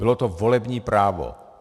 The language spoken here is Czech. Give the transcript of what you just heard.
Bylo to volební právo.